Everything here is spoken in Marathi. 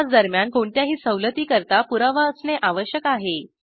प्रवासादरम्यान कोणत्याही सवलती करता पुरावा असणे आवश्यक आहे